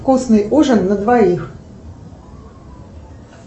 вкусный ужин на двоих